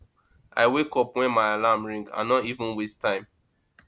i wake up wen my alarm ring i no even waste time